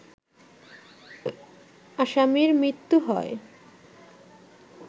আসামির মৃত্যু হয়